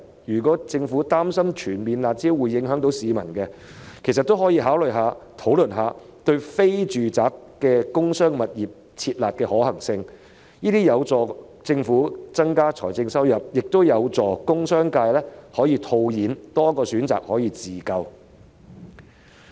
如果政府擔心全面撤銷"辣招"會影響市民，其實也可以考慮及討論對非住宅的工商物業"撤辣"的可行性，這將有助政府增加財政收入，亦有助工商界套現，有多一個自救的選擇。